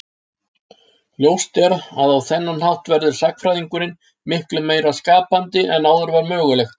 Ljóst er að á þennan hátt verður sagnfræðingurinn miklu meira skapandi en áður var mögulegt.